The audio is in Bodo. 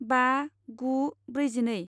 बा गु ब्रैजिनै